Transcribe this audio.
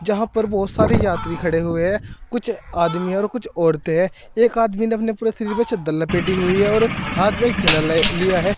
यहां पर बहुत सारी यात्री खड़े हुए हैं कुछ आदमी और कुछ औरतें है एक आदमी ने अपने पूरे शरीर पे चद्दर लपेटी हुई है और हाथ में एक थैला लिया है।